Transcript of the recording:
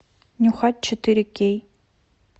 нюхач четыре кей